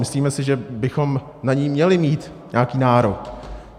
Myslíme si, že bychom na ni měli mít nějaký nárok.